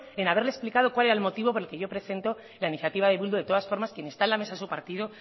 en haberle explicado cuál era el motivo por el que yo presento la iniciativa de bildu de todas formas quien está en la mesa en su partido